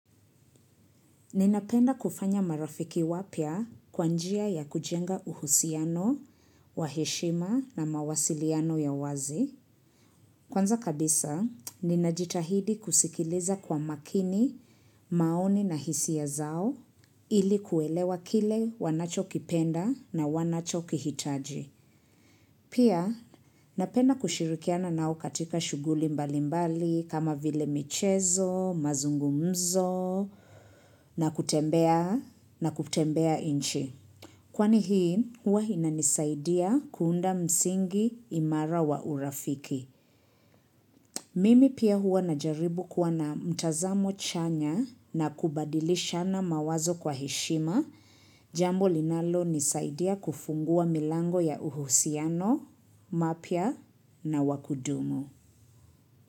Ninapenda kufanya marafiki wapya kwa njia ya kujenga uhusiano, wa heshima na mawasiliano ya wazi. Kwanza kabisa, ninajitahidi kusikiliza kwa makini maoni na hisia zao, ili kuwaelewa kile wanachokipenda na wanachokihitaji. Pia, napenda kushirikiana nao katika shughuli mbalimbali kama vile michezo, mazungumzo, na kutembea, na kutembea nchi. Kwani hii, huwa inanisaidia kuunda msingi imara wa urafiki. Mimi pia huwa najaribu kuwa na mtazamo chanya na kubadilishana mawazo kwa heshima, jambo linalonisaidia kufungua milango ya uhusiano, mapya na wa kudumu.